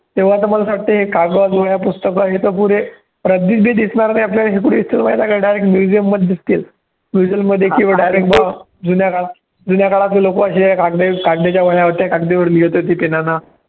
तेव्हा तर मला असं वाटतं हे कागद, वह्या, पुस्तकं हे तर पुरे रद्दीतही दिसणार नाही आपल्याला हे कुठे दिसतील माहिती आहे का direct museum मध्ये दिसतील mesuem मध्ये किंवा direct जुन्या काळात जुन्या काळातले लोकं असे या कागद कागदाच्या वह्या होत्या कागदावर लिहीत होती pen नं